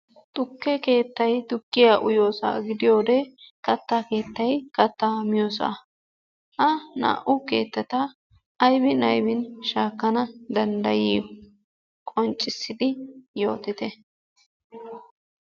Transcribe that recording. Tukke keettay tukkiya uyiyoosa gidiyoode kattaa keettay katta miyoosa, ha naa"u keettata aybbi aybbin shaakkana danddayiyo? qonccissidi yootite.